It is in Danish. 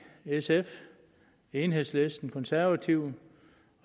sf enhedslisten konservative